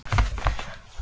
Er ég stressaður?